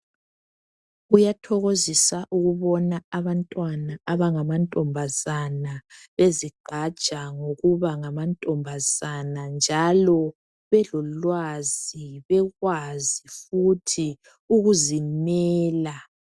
Kuyathokozisa ukubona abantwana abangamantombazana bezigqaja ngokuba ngamantombazana njalo belolwazi bekwazi futhi ukuzimela.